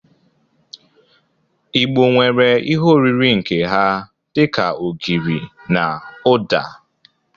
Igbo nwere ihe oriri nke ha dị ka ogiri na ụda.